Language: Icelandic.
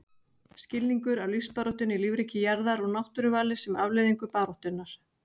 Skilningur á lífsbaráttunni í lífríki jarðar og náttúruvali sem afleiðingu baráttunnar.